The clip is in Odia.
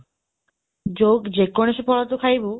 ଯୋଉ, ଯେକୌଣସି ଫଳ ତୁ ଖାଇବୁ,